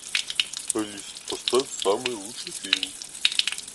алиса поставь самый лучший фильм